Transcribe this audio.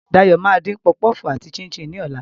Dayo máa dín puff puff àti chin-chin ní ọ̀la.